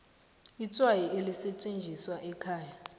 itswayi elisetjenziswa ekhaya